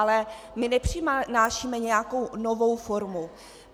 Ale my nepřinášíme nějakou novou formu.